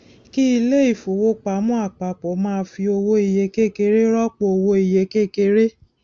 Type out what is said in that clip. kí ilé ifówopàmọ àpapọ má fi owó iye kékeré rọpò owó iye kékeré